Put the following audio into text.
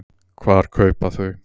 Hvar kaupa þau?